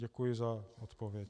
Děkuji za odpověď.